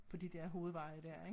På de dér hovedveje dér ik